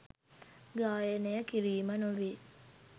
ගායනය කිරීම නොවේ.